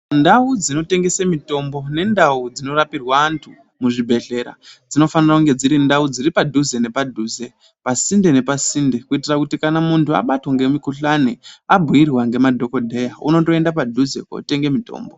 Ndau dzinotengese mitombo nendau dzinorapirwe anthu muzvibhedhlera dzinofanire kunge dziri ndau dziri padhuze nepadhuze pasinde nepasinde kuitira kuti kana munthu abatwa ngemukuhlani abhiirwa ngemadhokodheya unondienda padhuze kotenge mutombo.